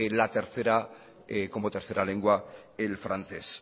como tercera lengua el francés